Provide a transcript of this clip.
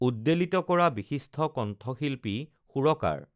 উদ্বেলিত কৰা বিশিষ্ট কণ্ঠশিল্পী সুৰকাৰ